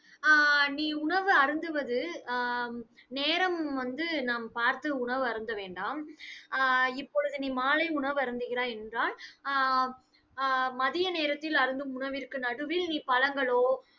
ஆஹ் நீ உணவு அருந்துவது அஹ் நேரம் வந்து நாம் பார்த்து உணவு அருந்த வேண்டாம். ஆஹ் இப்பொழுது நீ மாலை உணவு அருந்துகிறாய் என்றால் ஆஹ் ஆஹ் மதிய நேரத்தில், அருந்தும் உணவிற்கு நடுவில் நீ பழங்களோ